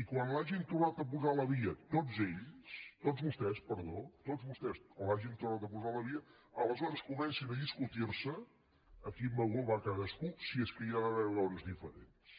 i quan l’hagin tornat a posar a la via tots vostès quan l’hagin tornat a posar a la via aleshores comencin a discutirse a quin vagó va cadascú si és que hi ha d’haver vagons diferents